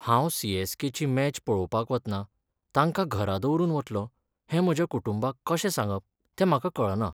हांव C. S. K. ची match पळोवपाक वतना तांकां घरा दवरून वतलों हें म्हज्या कुटुंबाक कशें सांगप तें म्हाका कळना.